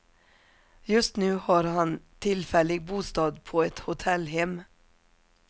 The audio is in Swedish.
Just nu har han tillfällig bostad på ett hotellhem.